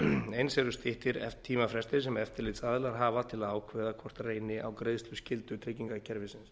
eins eru styttir tímafrestir sem eftirlitsaðilar hafa til að ákveða hvort reyni á greiðsluskyldu tryggingakerfisins